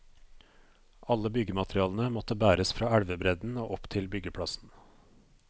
Alle byggematerialene måtte bæres fra elvebredden og opp til byggeplassen.